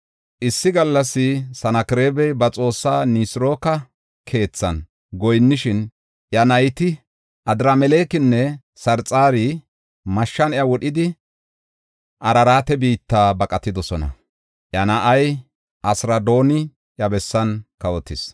Issi gallas Sanakreema ba xoossaa Nisirooka keethan goyinnishin, iya nayti Adramelekinne Sarxari mashshan iya wodhidi Araraate biitta baqatidosona. Iya na7ay Asiradooni iya bessan kawotis.